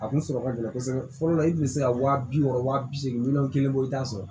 A kun sɔrɔ ka gɛlɛn kosɛbɛ fɔlɔ la i kun bɛ se ka wa bi wɔɔrɔ wa bi seegin miliyɔn kelen bɔ i t'a sɔrɔ